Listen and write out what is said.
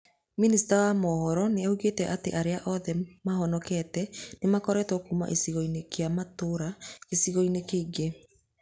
Minista wa mohoro nĩ oigĩte atĩ arĩa othe mahonokete nĩ mekũrutwo kuuma gĩcigo-inĩ kĩu matwarwo gĩcigo-inĩ kĩngĩ.